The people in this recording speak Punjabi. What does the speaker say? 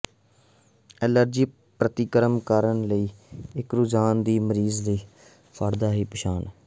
ਐਲਰਜੀ ਪ੍ਰਤੀਕਰਮ ਕਰਨ ਲਈ ਇੱਕ ਰੁਝਾਨ ਨਾਲ ਮਰੀਜ਼ ਵਿੱਚ ਫਾੜਦਾ ਦੀ ਪਛਾਣ